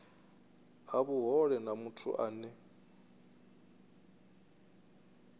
ha vhuhole na muthu ane